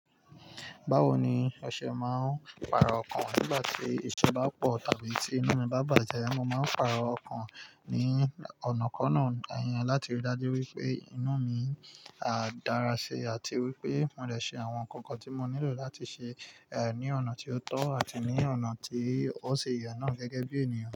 Báwo ni ọṣẹ máa ń paro ọkàn? Nígbà tí ìṣe bá pọ̀ tàbí tí inú mi bá bàjẹ́, mo máa ń paro ọkàn ní ọ̀nà kan náà, ẹyin, láti rí i dájú wípé inú mi dára ṣe àti wípé mò lè ṣe àwọn nǹkan kan tí mo nílò láti ṣe, ẹ́, ní ọ̀nà tí ó tọ́ àti ní ọ̀nà tí ó ṣi ye náà gẹ́gẹ́ bí ènìyàn.